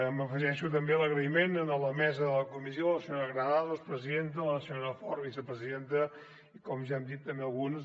m’afegeixo també a l’agraïment a la mesa de la comissió a la senyora granados presidenta la senyora fort vicepresidenta i com ja hem dit també a alguns